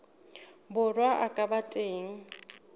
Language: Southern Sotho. borwa a ka ba teng